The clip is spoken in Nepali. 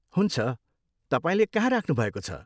हुन्छ, तपाईँले कहाँ राख्नु भएको छ?